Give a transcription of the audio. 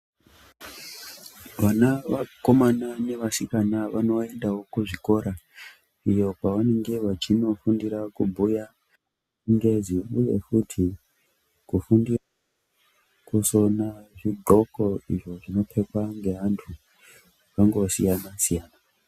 Vana vakomana nevasikana vanoendavo kuzvikora iyo kwavanenge vachinofundira kubhuya chingezi, uye futi kufundira kusona zvidhloko izvo zvinopfekwa ngeantu vakangosiyana-siyana.